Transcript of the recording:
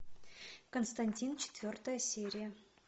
константин четвертая серия